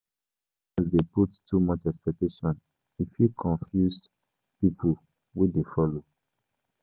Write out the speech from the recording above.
Some leaders dey put too much expectation; e fit confuse pipo wey dey follow.